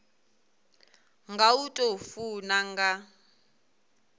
nga u tou funa nga